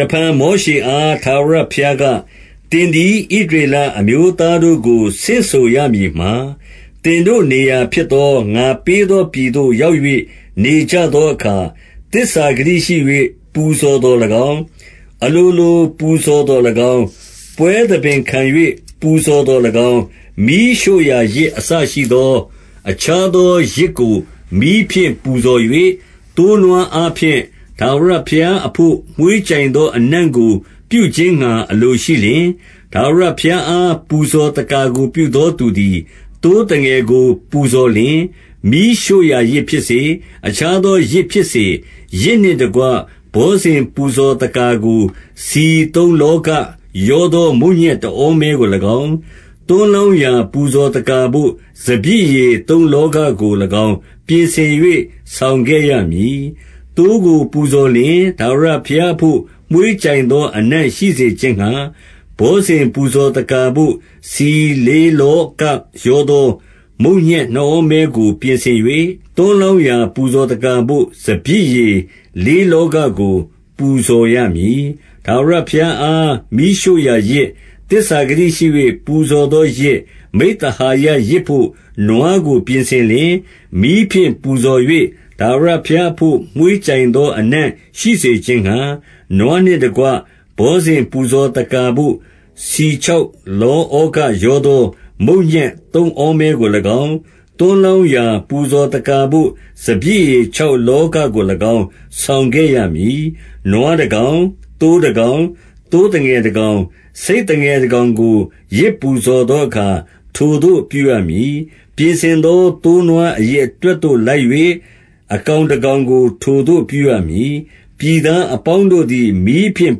တဖန်မောရှေအား ထာဝရဘုရားက၊ သင်သည် ဣသရေလအမျိုးသားတို့ကို ဆင့်ဆိုရမည်မှာ၊ 2 သင်တို့နေရာဖြစ်သော ငါပေးသော ပြည်သို့ ရောက်၍ နေကြသောအခါ 3 သစ္စာဂတိရှိ၍ ပူဇော်သော်၎င်း၊ အလိုလို ပူဇော် သော်၎င်း၊ ပွဲသဘင်ခံ၍ ပူဇော်သော်၎င်း၊ မီးရှို့ရာယဇ် အစရှိသော အခြားသောယဇ်ကို မီးဖြင့်ပူဇော်၍ သိုးနွား အားဖြင့် ထာဝရဘုရားအဘို့ မွှေးကြိုင်သော အနံ့ကို ပြုခြင်းငှါအလိုရှိလျှင်၊ 4 ထာဝရဘုရားအား ပူဇော်သက္ကာကို ပြုသောသူသည်၊ သိုးသငယ်ကို ပူဇော်လျှင် မီးရှို့ရာယဇ်ဖြစ်စေ၊ အခြားသောယဇ်ဖြစ်စေ၊ 5 ယဇ်နှင့်တကွ ဘောဇဉ်ပူဇော်သက္ကာကို ဆီသုံးလောဃရောသော မုန့်ညက်တဩမဲကို၎င်း။ သွန်းလောင်းရာ ပူဇော်သက္ကာကို စပျစ်ရည် သုံးလောဃကို၎င်း၊ ပြင်ဆင်၍ ဆောင်ခဲ့ရမည်။ 6 သိုးကိုပူဇော်လျှင်၊ ထာဝရဘုရားအဘို့ မွှေးကြိုင်သောအနံ့ရှိစေ ခြင်းငှါ၊ 7 ဘောဇဉ်ပူဇော်သက္ကာဘို့ ဆီလေး လောဃရောသော မုန့်ညက်နှစ်ဩမဲကို ပြင်ဆင်၍ သွန်းလောင်းရာ ပူဇော်သက္ကာဘို့ စပျစ်ရည်လေးလောဃကို ပူဇော်ရမည်။ 8 ထာဝရဘုရားအား မီးရှို့ရာယဇ်၊ သစ္စာဂတိရှိ၍ ပူဇော်သောယဇ်၊ မိဿဟာယယဇ်ဘို့ နွားကို ပြင်ဆင်လျှင်၊ 9 မီးဖြင့်ပူဇော်၍ ထာဝရဘုရားအဘို့ မွှေးကြိုင် သော အနံ့ရှိစေခြင်းငှါ၊ 10 နွားနှင့်တကွ ဘောဇဉ်ပူဇော်သက္ကာဘို့ ဆီ ခြောက်လောဃရောသော မုန့်ညက်သုံးဩမဲကို၎င်း၊ သွန်း လောင်းရာ ပူဇော်သက္ကာဘို့ စပျစ်ရည် ခြောက်လောဃ ကို၎င်း ဆောင်ခဲ့ရမည်။ 11 နွားတကောင်၊ သိုးတကောင်၊ သိုးသငယ်တကောင်၊ ဆိတ်သငယ်တကောင်ကို ယဇ်ပူဇော်သောအခါ ထိုသို့ပြုရမည်။ 12 ပြင်ဆင်သော သိုး နွားအရေအတွက်သို့ လိုက်၍၊ တကောင် ကောင်ကို ထိုသို့ပြုရမည်။ 13 ပြည်သားအပေါင်းတို့သည် မီးဖြင့်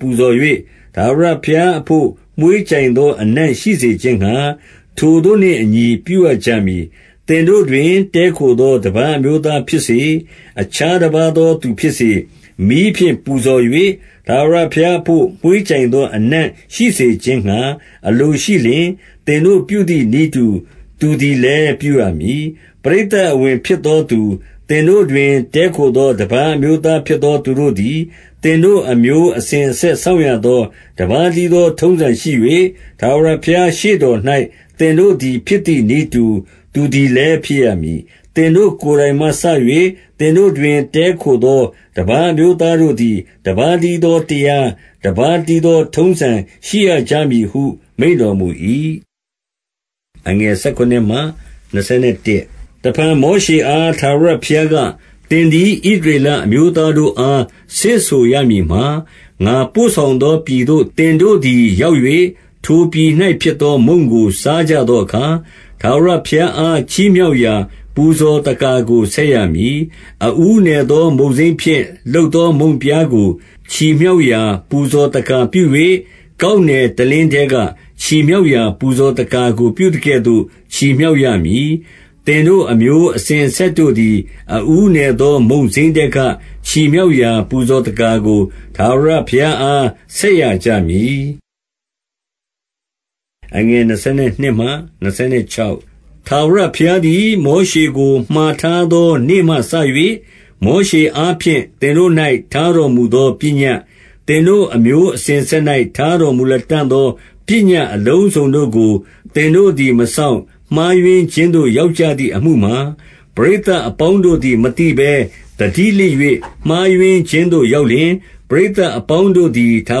ပူဇော်၍ ထာဝရဘုရားအဘို့ မွှေးကြိုင်သော အနံ့ရှိစေခြင်းငှါ၊ ထိုသို့နှင့်အညီ ပြုရကြမည်။ 14 သင်တို့တွင် တည်းခိုသော တပါးအမျိုးသား ဖြစ်စေ၊ အခြားတပါးသောသူဖြစ်စေ၊ မီးဖြင့် ပူဇော်၍ ထာဝရဘုရားအဘို့ မွှေးကြိုင်သောအနံ့ရှိစေခြင်းငှါ အလို ရှိလျှင်၊ သင်တို့ပြုသည်နည်းတူ သူသည်လည်း ပြုရမည်။ 15 ပရိသတ်အဝင်ဖြစ်သောသူ၊ သင်တို့တွင် တည်း ခိုသော တပါးအမျိုးသားဖြစ်သောသူတို့သည်၊ သင်တို့ အမျိုးအစဉ်အဆက်စောင့်ရသော တပါးတည်းသော ထုံးစံရှိ၍၊ ထာဝရဘုရားရှေ့တော်၌ သင်တို့သည် ဖြစ် သည်နည်းတူ သူသည်လည်း ဖြစ်ရမည်။ 16 သင်တို့ကိုယ်တိုင်မှစ၍ သင်တို့တွင် တည်းခို သော တပါးအမျိုးသားတို့သည် တပါးတည်းသော တရား၊ တပါးတည်းသော ထုံးစံရှိရကြမည်ဟု မိန့်တော်မူ၏။ 17 တဖန်မောရှေအား ထာဝရဘုရားက၊ သင်သည် ဣသရေလအမျိုးသားတို့အား ဆင့်ဆိုရမည်မှာ၊ 18 ငါပို့ဆောင်သော ပြည်သို့ သင်တို့သည် ရောက်၍၊ 19 ထိုပြည်၌ဖြစ်သော မုန့်ကို စားကြသောအခါ၊ ထာဝရဘုရားအား ချီးမြှောက်ရာ ပူဇော်သက္ကာကို ဆက်ရ မည်။ 20 အဦးနယ်သော မုန့်စိမ်းဖြင့် လုပ်သော မုန့်ပြား ကို ချီမြှောက်ရာ ပူဇော်သက္ကာပြု၍ ကောက်နယ်တလင်း ထဲက ချီမြှောက်ရာ ပူဇော်သက္ကာကို ပြုသကဲ့သို့ ချီမြှောက် ရမည်။ 21 သင်တို့အမျိုးအစဉ်အဆက်တို့သည်၊ အဦးနယ် သော မုန့်စိမ်းထဲက ချီမြှောက်ရာ ပူဇော်သက္ကာကိုထာဝရ ဘုရားအား ဆက်ရကြမည်။ 22 ထာဝရဘုရားသည် မောရှေကို မှာထားသော နေ့မှစ၍၊ မောရှေအားဖြင့် သင်တို့၌ ထားတော်မူသော ပညတ်၊ 23 သင်တို့အမျိုးအစဉ်အဆက်၌ ထားတော်မူလတံ့ သော ပညတ်အလုံးစုံတို့ကို သင်တို့သည် မစောင့် မှား ယွင်းခြင်းသို့ ရောက်ကြသည်အမှုမှာ၊ 24 ပရိသတ်အပေါင်းတို့သည် မသိဘဲ သတိလစ်၍ မှားယွင်းခြင်းသို့ရောက်လျှင်၊ ပရိသတ်အပေါင်းတို့သည် ထာ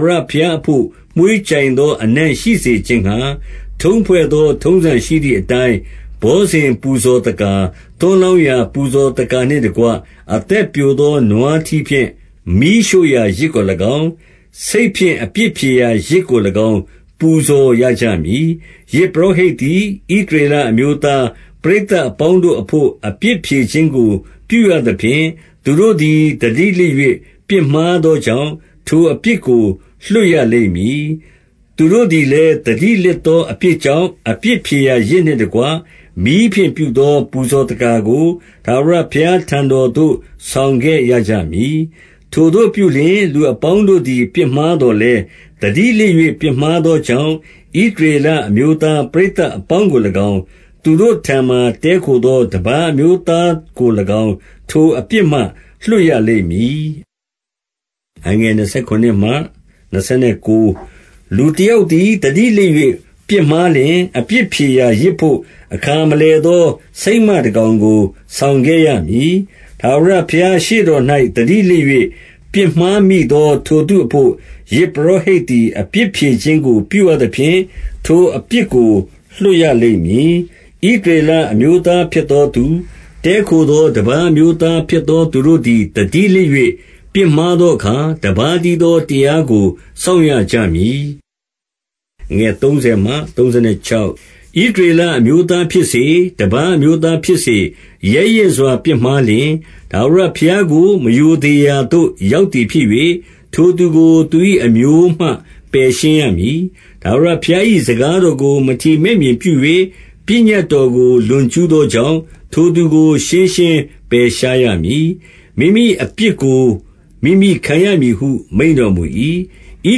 ဝရဘုရားအဘို့ မွှေးကြိုင်သောအနံ့ရှိစေခြင်းငှါ၊ ထုံးဖွဲ့သော ထုံးစံရှိသည်အတိုင်း ဘောဇဉ်ပူဇော်သက္ကာ၊ သွန်းလောင်းရာ ပူဇော်သက္ကာနှင့်တကွ၊ အသက်ပျိုသော နွားထီးဖြင့် မီးရှို့ရာယဇ်ကို၎င်း၊ ဆိတ်ဖြင့် အပြစ်ဖြေရာ ယဇ်ကို၎င်း ပူဇော်ရကြမည်။ 25 ယဇ်ပုရောဟိတ်သည်၊ ဣသရေလအမျိုးသား ပရိသတ်အပေါင်းတို့အဘို့ အပြစ်ဖြေခြင်းကို ပြုရသဖြင့်၊ သူတို့သည် သတိလစ်၍ ပြစ်မှားသောကြောင့်၊ ထိုအပြစ် ကို လွှတ်ရလိမ့်မည်။ သူတို့သည်လည်း သတိလစ်သော အပြစ်ကြောင့်၊ အပြစ်ဖြေရာယဇ်နှင့်တကွ၊ မီးဖြင့်ပြုသော ပူဇော်သက္ကာကို ထာဝရဘုရားထံတော်သို့ ဆောင်ခဲ့ရ ကြမည်။ 26 ထိုသို့ပြုလျှင်၊ လူအပေါင်းတို့သည် ပြစ်မှားသော် လည်း၊ သတိလစ်၍ ပြစ်မှားသောကြောင့်၊ ဣသရေလ အမျိုးသားပရိသတ်အပေါင်းကို၎င်း၊ သူတို့ထံမှာ တည်းခို သော တပါးအမျိုးသားကို၎င်း ထိုအပြစ်မှ လွှတ်ရလိမ့် မည်။ 27 လူတစုံတယောက်သည် သတိလစ်၍ ပြစ်မှား လျှင်၊ အပြစ်ဖြေရာ ယဇ်ဘို့အခါမလည်သော ဆိတ်မ တကောင်ကို ဆောင်ခဲ့ရမည်။ 28 ထာဝရဘုရားရှေ့တော်၌ သတိလစ်၍ ပြစ်မှား မိသော ထိုသူအဘို့ ယဇ်ပုရောဟိတ်သည် အပြစ်ဖြေခြင်း ကို ပြုရသဖြင့် ထိုအပြစ်ကို လွှတ်ရလိမ့်မည်။ 29 ဣသရေလအမျိုးသားဖြစ်သောသူ၊ တည်းခို သော တပါးအမျိုးသားဖြစ်သောသူတို့သည် သတိလစ်၍ ပြစ်မှားသောအခါ၊ တပါးတည်းသော တရားကို စောင့်ရ ကြမည်။ 30 ဣသရေလအမျိုးသားဖြစ်စေ၊ တပါးအမျိုးသား ဖြစ်စေ၊ ရဲရင့်စွာပြစ်မှားလျှင်၊ ထာဝရဘုရားကို မရိုသေ ရာသို့ ရောက်သည်ဖြစ်၍၊ ထိုသူကို သူ၏အမျိုးမှ ပယ်ရှင်း ရမည်။ 31 ထာဝရဘုရား၏စကားတော်ကို မထီမဲ့မြင်ပြု၍ ပညတ်တော်ကို လွန်ကျူးသောကြောင့်၊ ထိုသူကို ရှင်းရှင်း ပယ်ရှားရမည်။ မိမိအပြစ်ကို မိမိခံရမည်ဟု မိန့်တော်မူ ၏။ 32 ဣ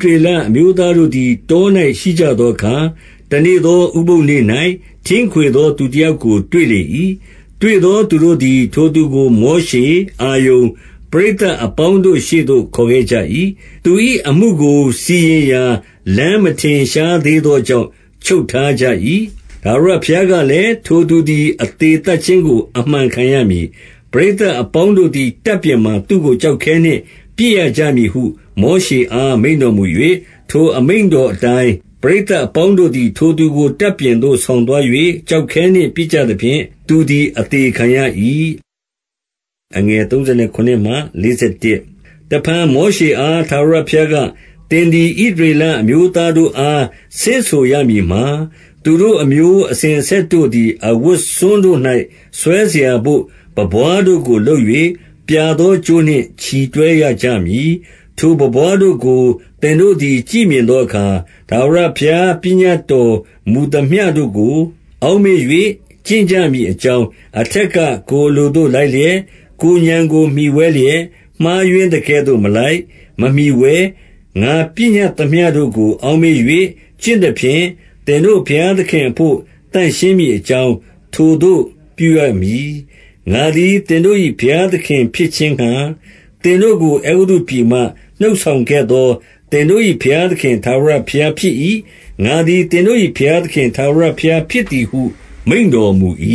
သရေလအမျိုးသားတို့သည် တော၌ ရှိကြ သောအခါ၊ တနေ့သောဥပုသ်နေ့၌ ထင်းခွေသောသူ တယောက်ကို တွေ့လေ၏။ 33 တွေ့သောသူတို့သည်၊ ထိုသူကို မောရှေ၊ အာရုန်၊ ပရိသတ်အပေါင်းတို့ ရှေ့သို့ ခေါ်ခဲ့ကြ၏။ 34 သူ၏အမှုကို စီရင်ရာလမ်းမထင်ရှားသေးသော ကြောင့် ချုပ်ထားကြ၏။ 35 ထာဝရဘုရားကလည်း၊ ထိုသူသည် အသေ သတ်ခြင်းကို အမှန်ခံရမည်။ ပရိသတ်အပေါင်းတို့သည် တပ်ပြင်မှာ သူ့ကို ကျောက်ခဲနှင့်ပစ်ရကြမည်ဟု မောရှေ အား မိန့်တော်မူ၍၊ 36 ထိုအမိန့်တော်အတိုင်း ပရိသတ်အပေါင်းတို့ သည် ထိုသူကို တပ်ပြင်သို့ ဆောင်သွား၍၊ ကျောက်ခဲနှင့် ပစ်ကြသဖြင့် သူသည် အသေခံရ၏။ 37 တဖန် မောရှေအား ထာဝရဘုရားက၊ သင် သည် ဣသရေလအမျိုးသားတို့အား ဆင့်ဆိုရမည်မှာ၊ 38 သူတို့အမျိုး အစဉ်အဆက်တို့သည်၊ အဝတ်စွန်း တို့၌ ဆွဲစရာဘို့ ပန်းပွားတို့ကို လုပ်၍၊ ပြာသော ကြိုးနှင့် ချည်တွဲရကြမည်။ 39 ထိုပန်းပွားတို့ကို သင်တို့သည် ကြည့်မြင်သော အခါ၊ ထာဝရဘုရား ပညတ်တော်မူသမျှတို့ကို အောက် မေ့၍ ကျင့်ကြမည်အကြောင်း၊ အထက်က ကိုယ်အလိုသို့ လိုက်လျက်၊ ကိုယ်ဉာဏ်ကို မှီဝဲလျက် မှားယွင်းသကဲ့သို့ မလိုက် မမှီဝဲ၊ 40 ငါပညတ်သမျှတို့ကို အောက်မေ့၍ ကျင့်သဖြင့်၊ သင်တို့ ဘုရားသခင်အဘို့ သန့်ရှင်းမည်အကြောင်း ထိုသို့ ပြုရမည်။ 41 ငါသည် သင်တို့၏ ဘုရားသခင်ဖြစ်ခြင်းငှါ၊ သင်တို့ကို အဲဂုတ္တုပြည်မှ နှုတ်ဆောင်ခဲ့သော သင်တို့၏ ဘုရားသခင်ထာဝရဘုရားဖြစ်၏။ ငါသည် သင်တို့၏ ဘုရားသခင် ထာဝရဘုရားဖြစ်သည်ဟု မိန့်တော်မူ၏။